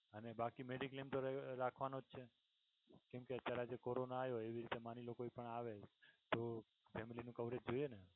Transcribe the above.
અને બાકી mediclaim તો રાખવાનો જ છે કેમકે અત્યારે corona આવ્યો એવી રીતે માની લ્યો કે કોઈ પણ આવે તો family નું coverage જોઈએ ને